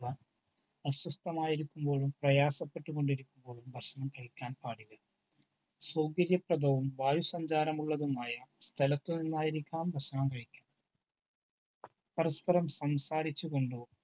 അസ്വസ്ഥമായിരിക്കുമ്പോഴും പ്രയാസപ്പെട്ടുകൊണ്ടിരിക്കുമ്പോഴും ഭക്ഷണം കഴിക്കാൻ പാടില്ല. സൗകര്യപ്രദവും വായു സഞ്ചാരമുള്ളതുമായ സ്ഥലത്തു നിന്നായിരിക്കണം ഭക്ഷണം കഴിക്കേണ്ടത്. പരസ്പരം സംസാരിച്ചു കൊണ്ടോ